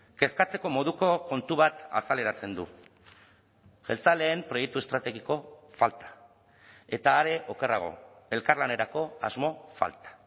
kezkatzeko moduko kontu bat azaleratzen du jeltzaleen proiektu estrategiko falta eta are okerrago elkarlanerako asmo falta